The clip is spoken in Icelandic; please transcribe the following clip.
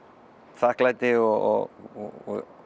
þakklæti og